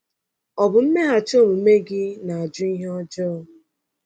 Ọ bụ mmeghachi omume gị na-ajụ ihe ọjọọ?